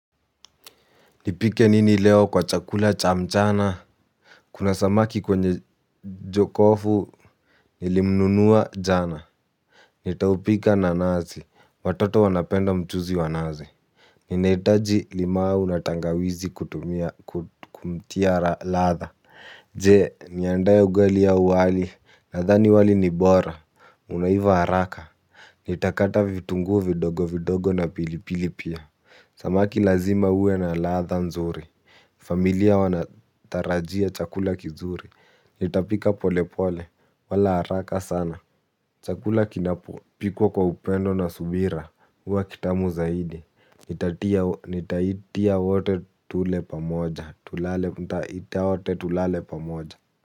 Nipike nini leo kwa chakula cha mchana. Kuna samaki kwenye jokofu. Nilimnunua jana. Nitaupika na nazi, watoto wanapenda mchuzi wa nazi. Ninaitaji limau na tangawizi kumtia latha. Jee niandaya ugali au wali, nadhani wali ni bora, unaiva haraka. Nitakata vitungu vidogo vidogo na pilipili pia. Samaki lazima uwe na latha nzuri. Familia wanatarajia chakula kizuri. Nitapika pole pole wala haraka sana. Chakula kinapo pikwa kwa upendo na subira uwa kitamu zaidi. Nitaitia wote tule pamoja. Itaitia wote tulale pamoja.